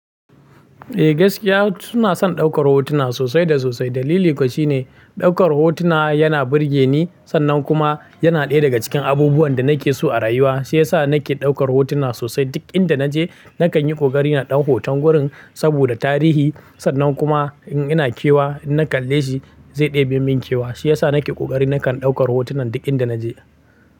Eh gaskiya suna son daukar hotuna sosai da sosai. Dalili kuwa shine daukar hotuna yana burge ni sannan kuma yana ɗaya daga cikin abubuwan da nake so a rayuwa. Shi ya sa nake daukar hotuna sosai duk inda naje nakan yi ƙoƙari na ɗau hoton wurin saboda tarihi sannan kuma in ina kewa in na kalle shi zai ɗebe min kewa. Shi ya sa nake ƙoƙari na kan daukar hotunan duk inda naje.